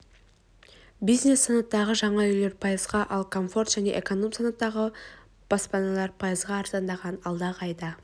бизнес санаттағы жаңа үйлер пайызға ал комфорт және эконом санатты баспаналар пайызға арзандаған алдағы айда